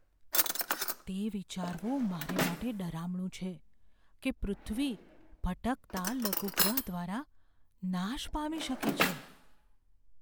તે વિચારવું મારા માટે ડરામણું છે કે પૃથ્વી ભટકતા લઘુગ્રહ દ્વારા નાશ પામી શકે છે.